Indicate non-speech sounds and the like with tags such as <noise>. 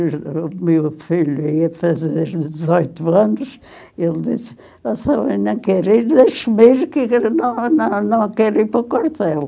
<unintelligible> O meu filho ia fazer dezoito anos e ele disse, nossa mãe, não quero ir, deixe-me ir, não não não quero ir para o quartel.